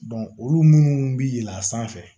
olu munnu bɛ yɛlɛn a sanfɛ